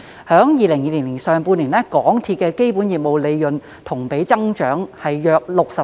在2020年上半年，港鐵公司的基本業務利潤同比增長約 64%。